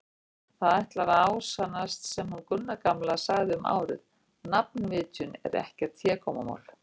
Það ætlar að ásannast sem hún Gunna gamla sagði um árið: nafnvitjun er ekkert hégómamál.